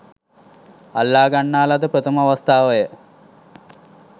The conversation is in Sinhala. අල්ලා ගන්නා ලද ප්‍රථම අවස්ථාවය.